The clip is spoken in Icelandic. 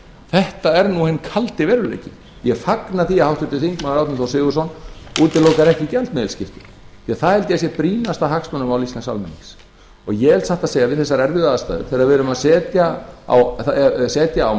þetta er nú hinn kaldi veruleiki ég fagna því að háttvirtur þingmaður árni þór sigurðsson útilokar ekki gjaldmiðilsskipti því það held ég að sé brýnasta hagsmunamál íslensks almennings og ég satt að segja við þessar erfiðu aðstæður þegar við erum að setja á